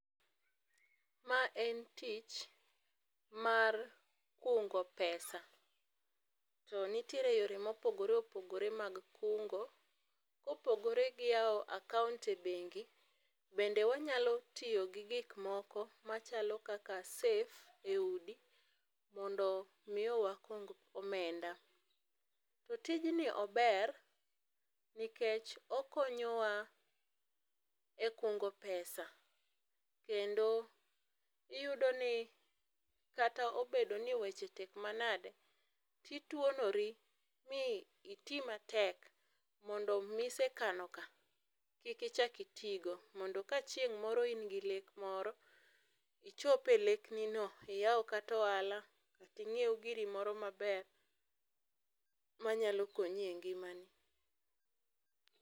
Mae en tich mar kungo pesa. Nitiere yore mopogore opogore mag kungo. Kopogore gi yawo akaont e bengi, bende wanyalo tiyo gi gikmoko machalo kaka safe e udi mondo miyo wakung omenda. Tijni ober nikech okonyowa e kungo pesa kendo iyudo ni kata obedtni weche tek manade, to ituonori mi iti matek mondo misekano ka kik ichak itigo, mondo ka chieng' moro in gi lek moro, ichopie leknino, iyaw kata ohala ,inyiew giri moro maber manyalo konyi e ngimani.